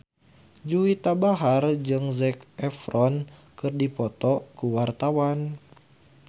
Juwita Bahar jeung Zac Efron keur dipoto ku wartawan